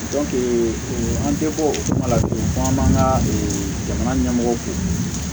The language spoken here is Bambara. an tɛ bɔ o kuma la tugun an man ka jamana ɲɛmɔgɔw fɛ